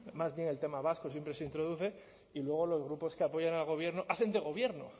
más bien el tema vasco siempre se introduce y luego los grupos que apoyan al gobierno hacen de gobierno